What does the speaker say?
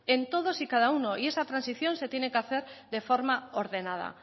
en todos y cada uno y esa transición se tiene que hacer de forma ordenada